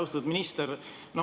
Austatud minister!